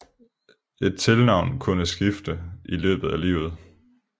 Et tilnavn kunne skifte i løbet af livet